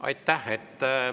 Aitäh!